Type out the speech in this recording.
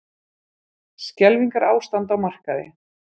Skelfingarástand á markaði